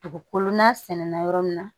Dugukolo n'a sɛnɛnna yɔrɔ min na